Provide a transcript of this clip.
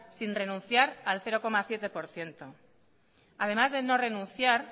sin renunciar al cero coma siete por ciento además de no renunciar